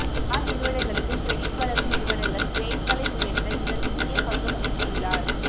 car நிறுவனங்களுக்கு credit வழங்கும் நிறுவனங்கள் கிரெட்களை உயர்த்த இவர் முக்கிய பங்கு வகித்துள்ளார்